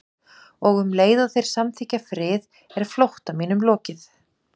Og um leið og þeir samþykkja frið er flótta mínum lokið.